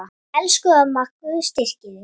Elsku amma, Guð styrki þig.